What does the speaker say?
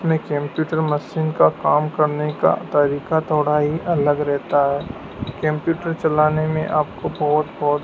में computer machine का काम करने का तरीका थोड़ा ही अलग रहता है कंप्यूटर चलाने में आपको बहुत बहुत--